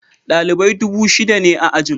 Dalibai dubu shida ne a ajin.